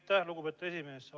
Aitäh, lugupeetud esimees!